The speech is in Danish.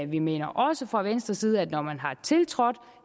vi mener også fra venstres side at når man har tiltrådt